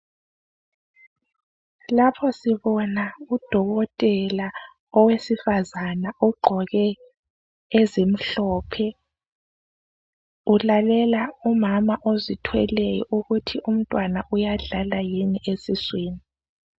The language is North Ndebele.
Lapho sibona udokotela owesifazana ugqoke ezimhlophe, ulalela umama ozithweleyo ukuthi umntwana uyadlala yini esuswini.